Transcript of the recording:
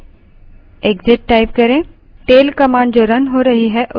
इस terminal को बंद करने के लिए exit type करें